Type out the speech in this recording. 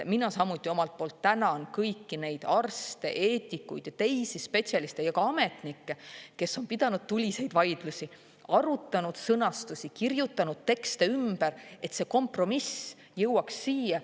Mina samuti omalt poolt tänan kõiki neid arste, eetikud ja teisi spetsialiste ning ka ametnikke, kes on pidanud tuliseid vaidlusi, arutanud sõnastusi, kirjutanud tekste ümber, et see kompromiss jõuaks siia.